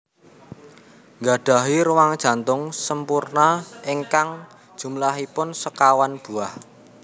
Gadahi ruang jantung sempurna ingkang jumlahipun sekawan buah